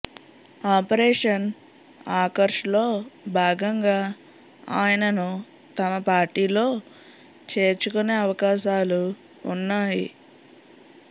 operation ఆకర్ష్లో భాగంగా ఆయనను తమ పార్టీలో చేర్చుకొనే అవకాశాలు ఉన్నాయి